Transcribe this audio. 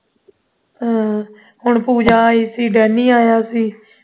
ਹੂਂ ਉਹ ਪੂਜਾ ਆਈ ਸੀ danny ਆਇਆ ਸੀ